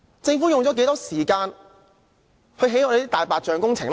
政府用了多少時間興建"大白象"工程呢？